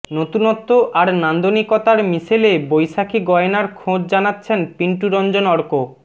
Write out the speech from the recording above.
নতুনত্ব আর নান্দনিকতার মিশেলে বৈশাখী গয়নার খোঁজ জানাচ্ছেন পিন্টু রঞ্জন অর্ক